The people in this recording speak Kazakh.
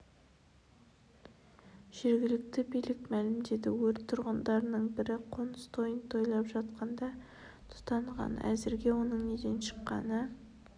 жергілікті билік мәлімдеді өрт тұрғындардың бірі қоныс тойын тойлап жатқанда тұтанған әзірге оның неден шыққаны